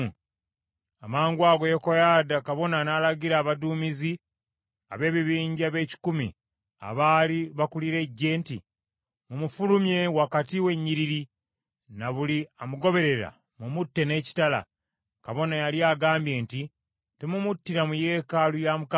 Amangwago Yekoyaada kabona n’alagira abaduumizi ab’ebibinja b’ekikumi, abaali bakulira eggye nti, “Mumufulumye wakati w’ennyiriri, na buli amugoberera mumutte n’ekitala.” Kabona yali agambye nti, “Temumuttira mu yeekaalu ya Mukama .”